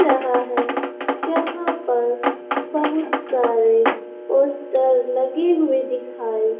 रहा है जहां पर बहुत सारे पोस्टर लगे हुए दिखाई --